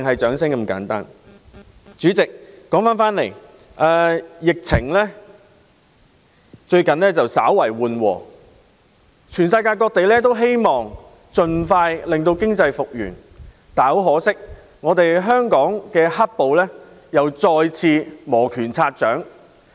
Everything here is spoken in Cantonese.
主席，疫情最近稍為緩和，世界各地均希望經濟盡快復原，但很可惜，香港"黑暴"再次磨拳擦掌。